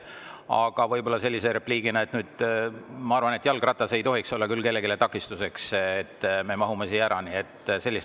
Aga võib-olla repliigina: ma arvan, et jalgratas ei tohiks olla küll kellelegi takistuseks, me mahume siia ära.